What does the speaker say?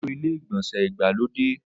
Ó lo ilé-ìgbọ̀nsẹ̀ ìgbàlódé.